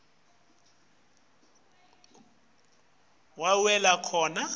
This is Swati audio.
kutsi wenta njani